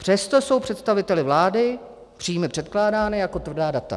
Přesto jsou představiteli vlády příjmy předkládány jako tvrdá data.